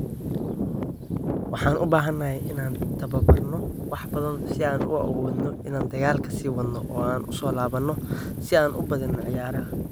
Waxaan u baahanahay inaan tababarno wax badan si aan u awoodno inaan dagaalka sii wadno oo aan u soo laabano si aan u badino ciyaaraha.